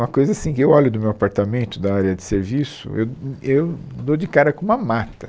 Uma coisa assim, que eu olho do meu apartamento, da área de serviço, eu, hum, eu dou de cara com uma mata.